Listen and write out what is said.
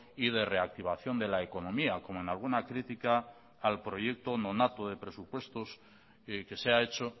y de reactivación de la economía como en alguna crítica al proyecto nonato de presupuestos que se ha hecho